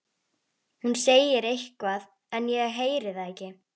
Hún segir eitthvað en ég heyri það ekki.